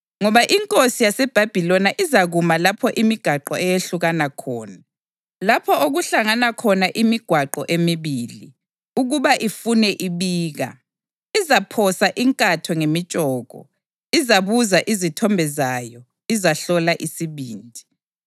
Ngoba inkosi yaseBhabhiloni izakuma lapho imigwaqo eyehlukana khona, lapho okuhlangana khona imigwaqo emibili, ukuba ifune ibika: Izaphosa inkatho ngemitshoko, izabuza izithombe zayo, izahlola isibindi.